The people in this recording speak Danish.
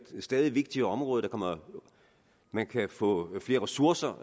stadig vigtigere område man kan få flere ressourcer